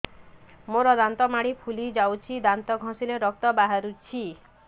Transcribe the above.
ମୋ ଦାନ୍ତ ମାଢି ଫୁଲି ଯାଉଛି ଦାନ୍ତ ଘଷିଲେ ରକ୍ତ ବାହାରୁଛି